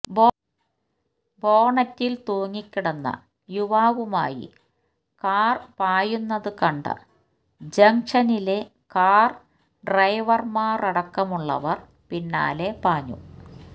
ബോണറ്റില് തൂങ്ങിക്കിടന്ന യുവാവുമായി കാര് പായുന്നതു കണ്ട ജംങ്ഷനിലെ കാര് ഡ്രൈവര്മാരടക്കമുള്ളവര് പിന്നാലെ പാഞ്ഞു